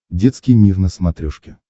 детский мир на смотрешке